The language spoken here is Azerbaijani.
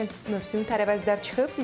Qəşəng mövsümü tərəvəzlər çıxıb.